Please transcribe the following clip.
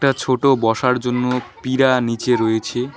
একটা ছোটো বসার জন্য পীড়া নীচে রয়েছে।